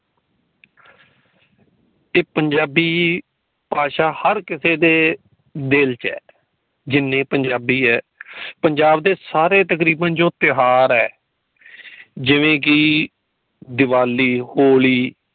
ਤੇ ਪੰਜਾਬੀ ਭਾਸ਼ਾ ਹਰ ਕਿਸੇ ਦੇ ਦਿਲ ਚ ਹੈ ਜਿਨੇ ਪੰਜਾਬੀ ਹੈ। ਪੰਜਾਬ ਦੇ ਸਾਰੇ ਤਕਰੀਬਨ ਜੋ ਤਿਉਹਾਰ ਏ ਜਿਵੇਂ ਕਿ ਦੀਵਾਲੀ ਹੋਲੀ